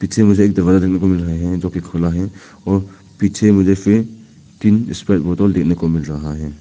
इसमें मुझे एक दरवाजा देखने को मिल रहे है जोकि खुला है और पीछे मुझे फिर तीन स्क्वायर बोतल देखने को मिल रहा है।